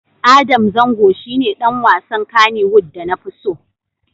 Adam Zango shi ne ɗan wasan Kannywood da na fi so.